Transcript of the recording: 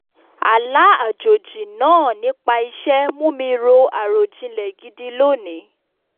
àlá àjòjì náà nípa iṣẹ́ mú mi ro àròjinlẹ̀ gidi lóní